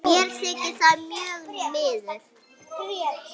Mér þykir það mjög miður.